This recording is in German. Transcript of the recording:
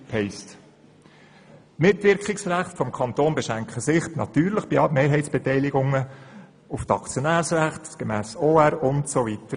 Die Mitwirkungsrechte des Kantons beschränken sich natürlich bei Mehrheitsbeteiligungen auf die Aktionärsrechte gemäss OR, usw.